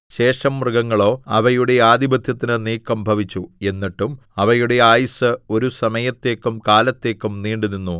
ശേഷം മൃഗങ്ങളോ അവയുടെ ആധിപത്യത്തിന് നീക്കം ഭവിച്ചു എന്നിട്ടും അവയുടെ ആയുസ്സ് ഒരു സമയത്തേക്കും കാലത്തേക്കും നീണ്ടുനിന്നു